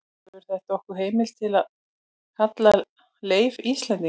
gefur þetta okkur heimild til að kalla leif íslending